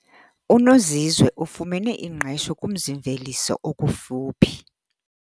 UNozizwe ufumene ingqesho kumzi-mveliso okufuphi.